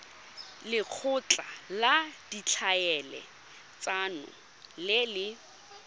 lekgotla la ditlhaeletsano le le